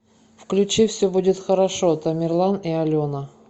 включи все будет хорошо тамерлан и алена